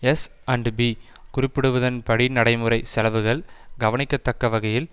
S and P குறிப்பிடுவதன் படி நடைமுறை செலவுகள் கவணிக்கத் தக்கவகையில்